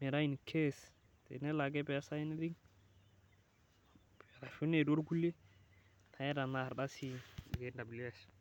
metaa Incase tenelo ake neesa anything niata Ina ardasi e Kws.